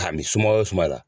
Ka mi sumaya wo sumaya la.